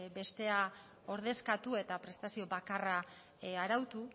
bestea ordezkatu eta prestazio bakarra arautu